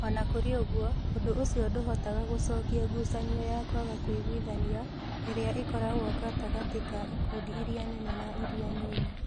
O na kũrĩ ũguo, ũndũ ũcio ndũhotaga gũcokia ngucanio ya kwaga kũiguithania ĩrĩa ĩkoragwo gatagatĩ ka ikundi iria nene na iria nini.